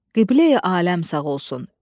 Qibleyi aləm sağ olsun.